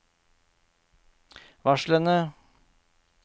varslene